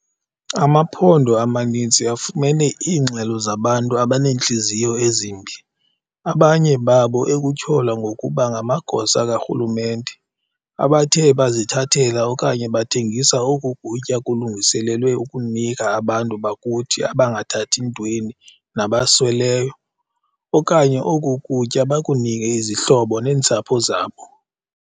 Amaphondo amaninzi afumene iingxelo zabantu abaneentliziyo ezimbi, abanye babo ekutyholwa ngokuba ngamagosa karhulumente, abathe bazithathela okanye bathengisa oku kutya kulungiselelwe ukunika abantu bakuthi abangathathi ntweni nabasweleyo, okanye oku kutya bakunike izihlobo neentsapho zabo.